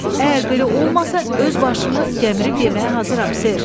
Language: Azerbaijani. Əgər belə olmasa, öz başımı gəmirib yeməyə hazıram, ser.